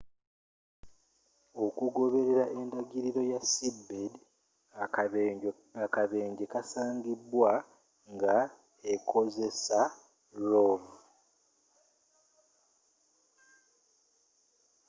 okugoberera endagiriro ya seabed akabenje kasangibwa nga ekozesa rov